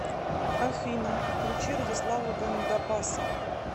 афина включи радислава гандапаса